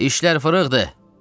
"Dişlər fırıxdı!"